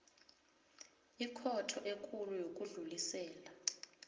ikhotho ekulu yokudlulisela